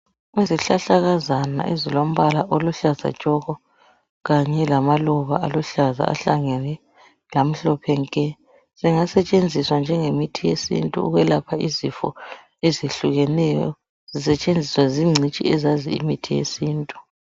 Izihlahlakazana ezilombala oluhlaza tshoko kanye lamaluba aluhlaza ahlangene lamhlophe nke, zingasetshenziswa njengemithi yesintu ukuyelapha izifo ezihlukeneyo zisetshenziswa zingcitshi ezazi imithi yesintu.